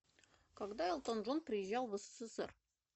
когда элтон джон приезжал в ссср